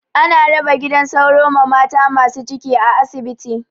Ana raba gidan sauro ma mata masu ciki a asibiti.